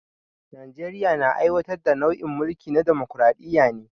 Najeriya na aiwatar da nau'in mulki na damokaraɗiya ne